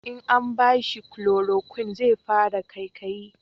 in an bashi kuloroquin zai fara kaikayi